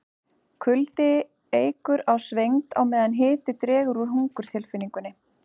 kuldi eykur á svengd á meðan hiti dregur úr hungurtilfinningunni